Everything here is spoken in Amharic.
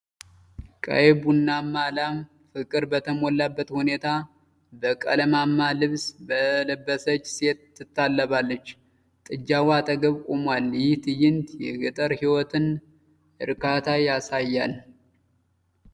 ቀይ ቡናማ ላም ፍቅር በተሞላበት ሁኔታ በቀለማማ ልብስ በለበሰች ሴት ትታለባለች። ጥጃዋ አጠገብ ቆሟል፤ ይህ ትዕይንት የገጠር ሕይወትን እርካታ ያሳያል።